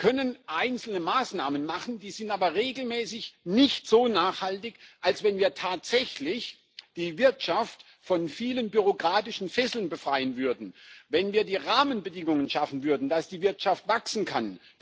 Wir können einzelne Maßnahmen treffen, die sind aber regelmäßig nicht so nachhaltig, als wenn wir tatsächlich die Wirtschaft von vielen bürokratischen Fesseln befreien würden, wenn wir die Rahmenbedingungen dafür schaffen würden, dass die Wirtschaft wachsen kann.